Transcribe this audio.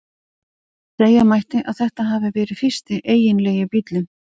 Segja mætti að þetta hafi verið fyrsti eiginlegi bíllinn.